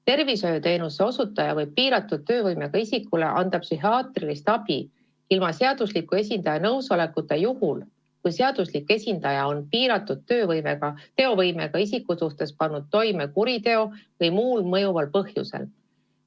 Tervishoiuteenuse osutaja võib piiratud teovõimega isikule anda psühhiaatrilist abi ilma seadusliku esindaja nõusolekuta juhul, kui seaduslik esindaja on piiratud teovõimega isiku suhtes pannud toime kuriteo, või muul mõjuval põhjusel.